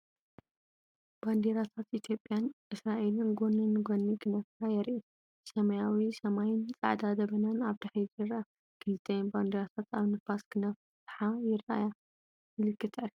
ባንዴራታት ኢትዮጵያን እስራኤልን ጎኒ ንጎኒ ክነፍራ የርኢ። ሰማያዊ ሰማይን ጻዕዳ ደበናን ኣብ ድሕሪት ይርአ። ክልቲአን ባንዴራታት ኣብ ንፋስ ክነፍሓ ይረኣያ። ምልክት ዕርክነት!